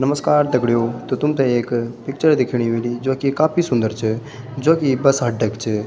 नमस्कार दगड़ियों तो तुम्थे एक पिक्चर दिखेणी ह्वेली जो की काफी सुन्दर च जो की बस अड्डा क च।